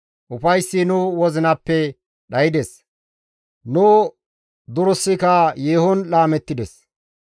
Ufayssi nu wozinappe dhaydes; nu durissika yeehon laamettides.